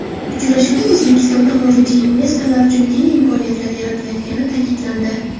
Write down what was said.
Uchrashuvda O‘zbekstonda xorijiy investorlar uchun keng imkoniyatlar yaratilayotgani ta’kidlandi.